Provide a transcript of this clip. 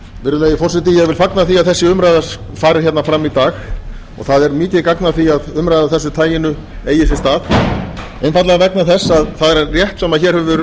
virðulegi forseti ég vil fagna því að þessi umræða fari fram í dag og það er mikið gagn að því að umræða af þessu taginu eigi sér stað einfaldlega vegna þess að það er rétt sem hér hefur